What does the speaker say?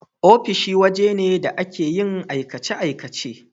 Ofishi waje ne da ake yin aikace-aikace.